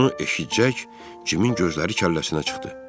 Bunu eşidəcək Cimin gözləri kəlləsinə çıxdı.